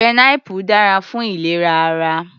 Pineapple dára fún ìlera ara.